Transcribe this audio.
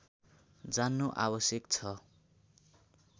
जान्नु आवश्यक छ